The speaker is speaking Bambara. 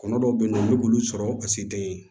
Kɔnɔ dɔw bɛ yen nɔ olu bɛ olu sɔrɔ ka se den ye